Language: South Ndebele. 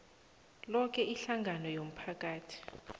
loke ihlangano yomphakathi